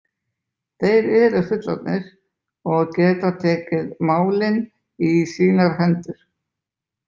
Þeir eru fullorðnir og geta tekið málin í sínar hendur.